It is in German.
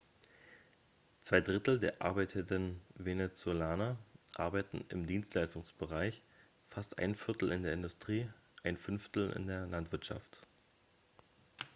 zwei drittel der arbeitenden venezolaner arbeiten im dienstleistungsbereich fast ein viertel in der industrie und ein fünftel in der landwirtschaft